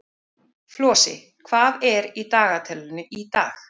Flosi, hvað er í dagatalinu í dag?